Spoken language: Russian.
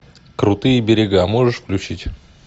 крутые берега можешь включить